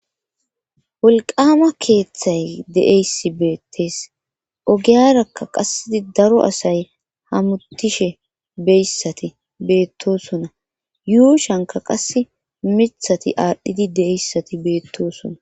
wolqama keeththay de7eyssi beettees ogiyarakka qassedi daro asay hamutishe beyssati beettosona yuushanka qasse mithati aadhdhidi de7eyssati beettosona